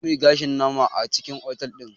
Za muyi gashin nama a cikin otal ɗin